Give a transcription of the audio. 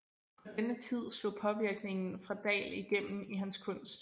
På denne tid slog påvirkningen fra Dahl igennem i hans kunst